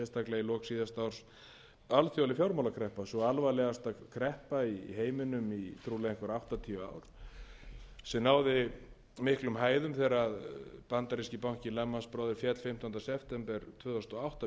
sérstaklega í lok síðasta árs alþjóðleg fjármálakreppa sú alvarlegasta kreppa í heiminum í trúlega einhver áttatíu ár sem náði miklum hæðum þegar bandaríski bankinn lehman brothers féll fimmtánda september tvö þúsund og átta með